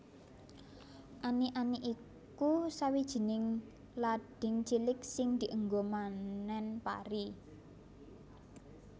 Ani ani iku sawijining lading cilik sing dienggo manen pari